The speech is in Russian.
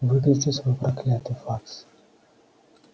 выключи свой проклятый факс